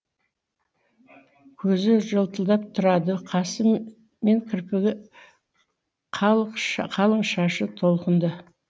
көзі жылтырап тұрады қасы мен кірпігі қалың шашы толқынды